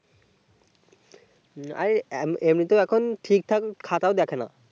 আরে এমনিতেই এখন ঠিক ঠাক খাতা ও দেখেনা